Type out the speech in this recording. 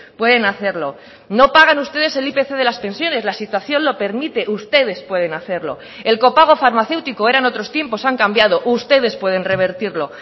pueden hacerlo no pagan ustedes el ipc de las pensiones la situación lo permite ustedes pueden hacerlo el copago farmacéutico eran otros tiempos han cambiado ustedes pueden revertirlo